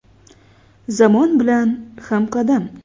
Zamon bilan hamqadam.